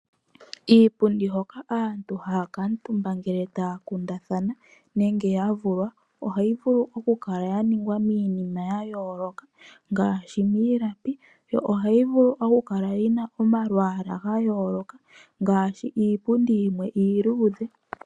Iipundi mbyoka aantu haya kuutumba ngele taya kundathana nenge yavulwa, ohayi vulu okukala yaningwa miinima ya yooloka ngaashi miilalapi. Ohayi vulu okukala momalwaala gayooloka ngaashi iipundi yimwe iiluudhe.